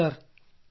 ಹೌದು ಸರ್